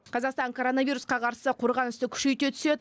қазақстан коронавирусқа қарсы қорғанысты күшейте түседі